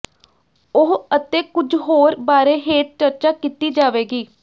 ਉਹ ਅਤੇ ਕੁਝ ਹੋਰ ਬਾਰੇ ਹੇਠ ਚਰਚਾ ਕੀਤੀ ਜਾਵੇਗੀ